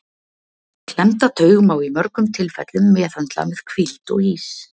Klemmda taug má í mörgum tilfellum meðhöndla með hvíld og ís.